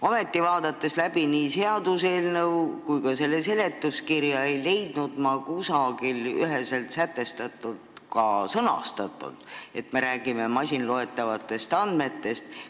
Ometi, vaadates läbi nii seaduseelnõu kui ka selle seletuskirja, ei leidnud ma kusagilt üheselt sätestatult sõnastust, et me räägime masinloetavatest andmetest.